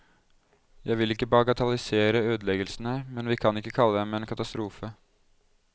Jeg vil ikke bagatellisere ødeleggelsene, men vi kan ikke kalle dem en katastrofe.